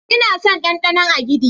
Ina son danɗanon agidi.